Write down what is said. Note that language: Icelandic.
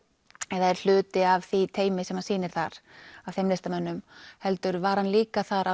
eða er hluti af því teymi sem sýnir þar heldur var hann líka þar